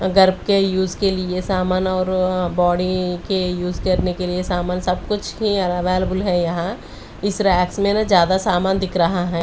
गर्भ के यूज के लिए सामान और बॉडी के यूज करने के लिए सामान सब कुछ ही अवेलेबल है यहां इस रैक्स में ना ज्यादा सामान दिख रहा है।